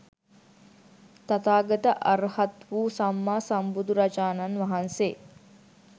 තථාගත අර්හත් වූ සම්මා සම්බුදුරජාණන් වහන්සේ